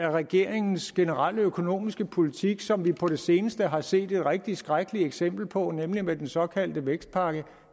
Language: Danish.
af regeringens generelle økonomiske politik som vi på det seneste har set et rigtig skrækkeligt eksempel på nemlig med den såkaldte vækstplan